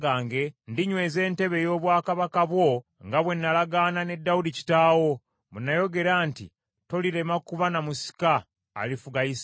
ndinyweza entebe ey’obwakabaka bwo, nga bwe nalagaana ne Dawudi kitaawo bwe nayogera nti, ‘Tolirema kuba na musika alifuga Isirayiri.’